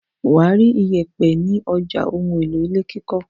Wà á rí ìyẹ̀pẹ̀ ní ọjà ohun-èlò ilé kíkọ́.